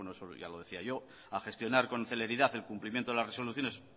eso ya lo decía yo a gestionar con celeridad el cumplimiento de las resoluciones